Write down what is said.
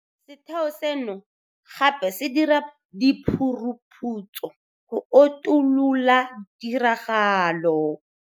Setheo seno gape se dira diphuruphutso go utolola ditiragalo.